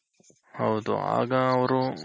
ಹೌದು ಆಗ ಅವ್ರು